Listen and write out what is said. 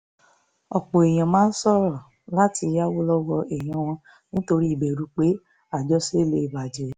ọ̀pọ̀ èèyàn máa ń ṣòro láti yáwó lọ́wọ́ èèyàn wọn nítorí ìbẹ̀rù pé àjọṣe lè bà jẹ́